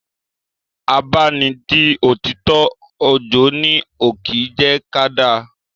Àbá ni n di òtítọ́, ojo ni ó kín jẹ́ ká da.